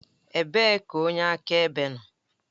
Ebee ka onye akaebe nọ?